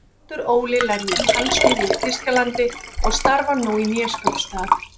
Baldur Óli lærði tannsmíði í Þýskalandi og starfar nú í Neskaupstað.